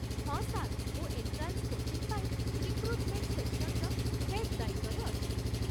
ହଁ ସାର୍, ମୁଁ entrance coaching ପାଇଁ ରିକ୍ରୁଟ୍‌ମେଣ୍ଟ୍ ସେକ୍ସନ୍‌ର ହେଡ୍ ଦାୟିତ୍ୱରେ ଅଛି ।